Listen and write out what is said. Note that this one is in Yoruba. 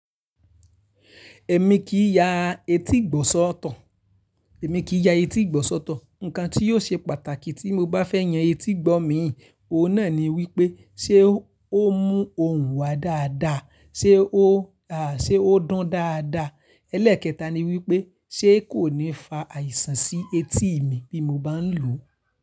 Èmi kì í ya etí ìgbọ̀nsọ́ soto. Ǹkan tí o ṣe pàtàkì tí mo bá fẹ́ yan etígbọ̀ mii, oun náà ni wípé ṣé ó mú òhún wa dáadáa? Ṣé ó dun dáadáa? Ẹlẹ́ẹ̀kẹta ni wípé ṣé kò ní fa àìsàn sí etí mi bí mo bá ń lòó.